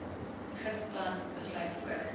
gidsplan besluit voor